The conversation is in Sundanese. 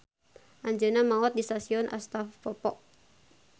Anjeunna maot di stasion Astapovo.